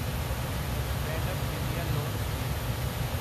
stand up India loan scheme